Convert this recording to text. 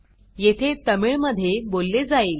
येथे तमिळ मध्ये बोलले जाईल